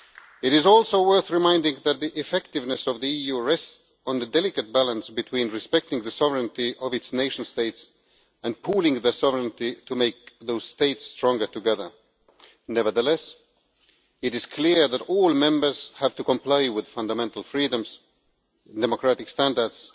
It is also worth recalling that the effectiveness of the EU rests on the delicate balance between respecting the sovereignty of its nation states and pooling the sovereignty to make those states stronger together. Nevertheless, it is clear that all Members have to comply with fundamental freedoms, democratic standards